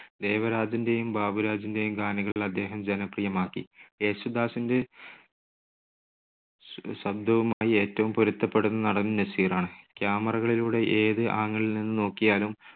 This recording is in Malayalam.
ദേവരാജൻ്റെയും ബാബുരാജിൻ്റെയും ഗാനങ്ങൾ അദ്ദേഹം ജനപ്രിയമാക്കി. യേശുദാസിൻ്റെ ശ~ശബ്‌ദവുമായി ഏറ്റവും പൊരുത്തപ്പെടുന്ന നടൻ നസീറാണ്. camera കളിലൂടെ ഏത് angle ൽ നിന്ന് നോക്കിയാലും